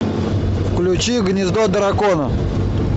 включи гнездо дракона